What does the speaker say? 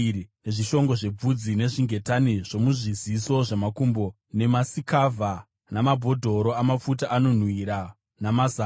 nezvishongo zvebvudzi, nezvingetani zvomuzviziso zvamakumbo, nemasikavha, namabhodhoro amafuta anonhuhwira, namazango,